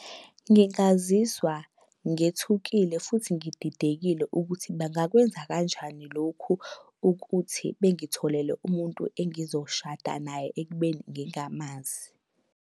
Ngingazizwa ngethukile futhi ngididekile ukuthi bangakwenza kanjani lokhu ukuthi bengitholele umuntu engizoshada naye ekubeni ngingamazi.